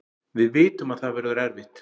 Við vitum að það verður erfitt